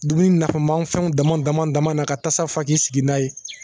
Dumuni nafama fɛnw dama dama dama na ka tasa fa k'i sigi n'a ye